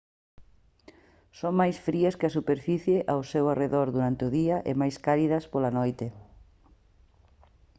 «son máis frías que a superficie ao seu arredor durante o día e máis cálidas pola noite